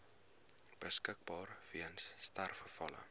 beskikbaar weens sterfgevalle